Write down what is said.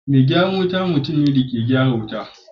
me gyaran wuta mutumne dayake gyaran wuta